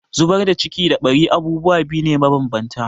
Zubar da ciki da ɓari abubuwa biyu ne mabanbanta.